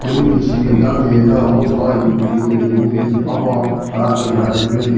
Hile machine keda nme chera hon nka indicator le bin ahon nka camera le bin.